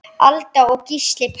Alda og Gísli Páll.